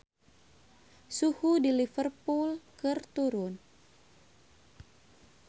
Suhu di Liverpool keur turun